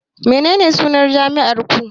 Menene sunan jami'ar ku